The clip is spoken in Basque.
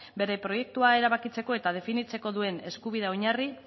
bere proiektua erabakitzeko eta definitzeko duen eskubidea oinarri